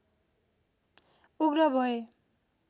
उग्र भए